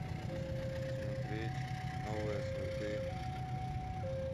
смотреть новые сваты